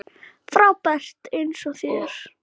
Frábær eins og þér.